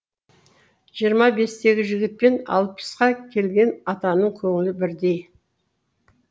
жиырма бестегі жігітпен алпысқа келген атаның көңілі бірдей